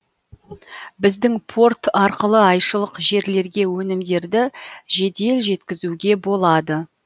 біздің порт арқылы айшылық жерлерге өнімдерді жедел жеткізуге болады